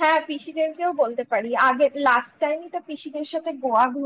হ্যাঁ পিসিদেরকেও বলতে পারি আগে last time ই তো পিসিদের সাথে Goa